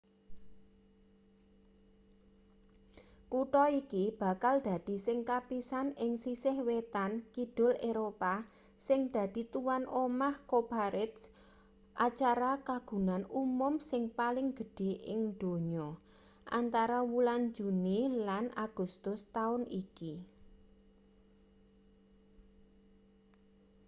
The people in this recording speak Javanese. kutha iki bakal dadi sing kapisan ing sisih wetan-kidul eropa sing dadi tuwan omah cowparade acara kagunan umum sing paling gedhe ing donya antara wulan juni lan agustus taun iki